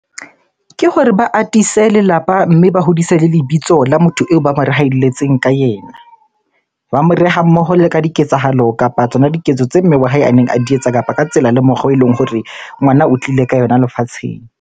Ke hore ba atise lelapa mme ba hodise le lebitso la motho eo ba mo rehalletseng ka ena. Ba moreha mmoho le ka diketsahalo kapa tsona diketso tse mme wa hae a neng a di etsa kapa ka tsela le mokgwa eleng hore ngwana o tlile ka yona lefatsheng.